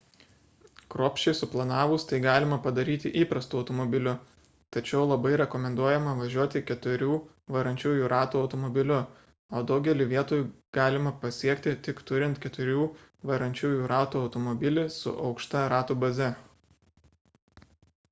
kruopščiai suplanavus tai galima padaryti įprastu automobiliu tačiau labai rekomenduojama važiuoti keturių varančiųjų ratų automobiliu o daugelį vietų galima pasiekti tik turint keturių varančiųjų ratų automobilį su aukšta ratų baze